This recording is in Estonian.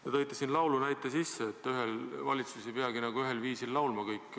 Te tõite siin laulu näite, et kogu valitsus, kõik valitsuse liikmed ei peagi ühel viisil laulma.